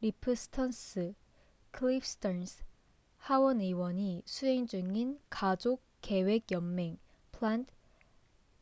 리프 스턴스cliff stearns 하원 의원이 수행 중인 가족계획 연맹planned